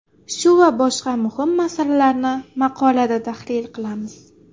Shu va boshqa muhim masalalarni maqolada tahlil qilamiz.